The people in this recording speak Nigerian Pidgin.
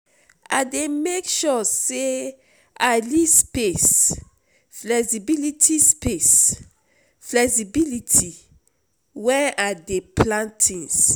I dey make sure sey I leave space flexibility space flexibility wen I dey plan tins.